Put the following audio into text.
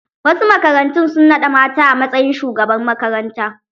Wasu makarantun su nada mata a matsayin shugabar makaranta.